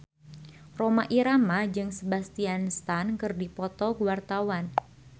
Rhoma Irama jeung Sebastian Stan keur dipoto ku wartawan